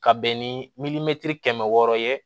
Ka bɛn ni kɛmɛ wɔɔrɔ ye